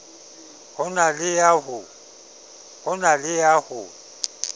ho na le ya ho